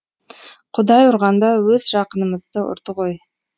құдай ұрғанда өз жақынымызды ұрды ғой